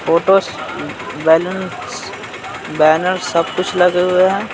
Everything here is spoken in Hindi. फोटोज बैलून्स बैनर सब कुछ लगे हुए हैं।